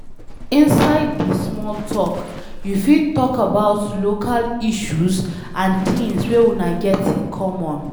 Inside di small talk, you fit talk about local issues and things wey una get in common